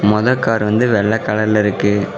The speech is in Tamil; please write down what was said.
மொத கார் வந்து வெள்ள கலர்ல இருக்கு.